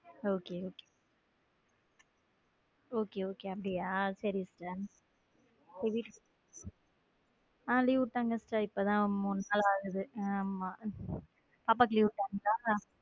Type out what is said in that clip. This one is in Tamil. Okay okay okay okay அப்படியா சேரிக ஹம் leave விட்டாங்கக்கா இப்பதான் மூணு நாள் ஆகுது ஆமா பாப்பாவுக்கு leave விட்டாங்களா.